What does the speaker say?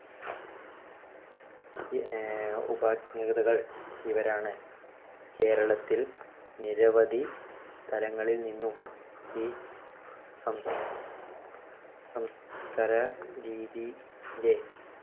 ആഹ് ഇവരാണ്. കേരളത്തിൽ നിരവധി സ്ഥലങ്ങളിൽനിന്നും ഈ സംസ് സംസ്കര രീതിന്‍ടെ